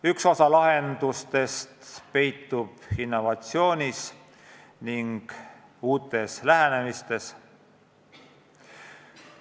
Üks osa lahendusest peitub innovatsioonis ning uutes lähenemistes.